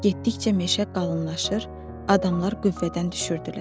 Getdikcə meşə qalınlaşır, adamlar qüvvədən düşürdülər.